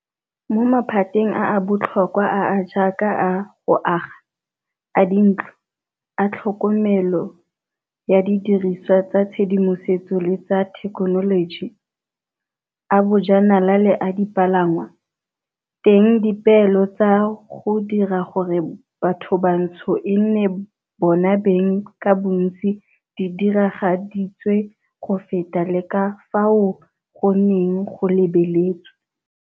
Mo maphateng a a botlhokwa a a jaaka a go aga, a dintlo, a tlhokomelo ya didirisiwa tsa tshedimosetso le tsa thekenoloji, a bojanala le a dipalangwa, teng dipeelo tsa go dira gore bathobantsho e nne bona beng ka bontsi di diragaditswe go feta le ka fao go neng go lebeletswe.